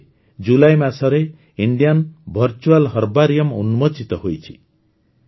ଏବେ ଏବେ ଜୁଲାଇ ମାସରେ ଇଣ୍ଡିଆନ ଭର୍ଚୁଆଲ୍ ହର୍ବାରିଅମ୍ ଉନ୍ମୋଚିତ ହେଇଛି